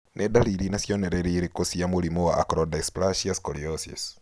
Nĩ ndariri na cionereria irĩkũ cia mũrimũ wa Acrodysplasia scoliosis?